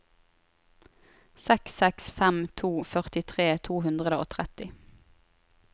seks seks fem to førtitre to hundre og tretti